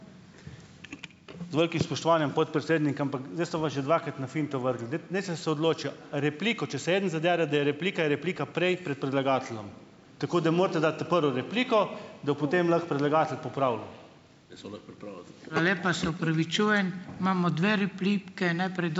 Z velikim spoštovanjem, podpredsednik, ampak zdaj ste me pa že dvakrat na finto vrgli. Daj, naj se, se odločijo. Repliko, če se eden zadere, da je replika, je replika prej pred predlagateljem. Tako da morate dati ta prvo repliko, da bo potem lahko predlagatelj popravljal.